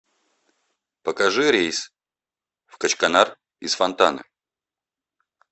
покажи рейс в качканар из фонтаны